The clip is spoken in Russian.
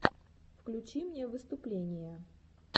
включи мне выступления